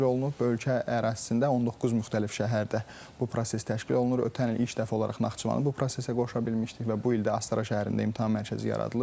Ölkə ərazisində 19 müxtəlif şəhərdə bu proses təşkil olunur, ötən il ilk dəfə olaraq Naxçıvanı bu prosesə qoşa bilmişdik və bu il də Astara şəhərində imtahan mərkəzi yaradılıb.